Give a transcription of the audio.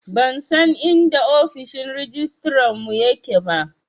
Ban san inda ofishin rajistarar mu ya ke ba